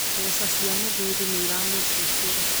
Mbeca cia mũthuuri nĩ iramũthumbũra